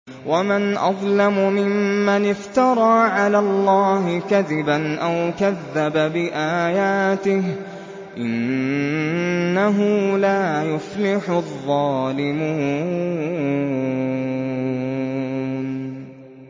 وَمَنْ أَظْلَمُ مِمَّنِ افْتَرَىٰ عَلَى اللَّهِ كَذِبًا أَوْ كَذَّبَ بِآيَاتِهِ ۗ إِنَّهُ لَا يُفْلِحُ الظَّالِمُونَ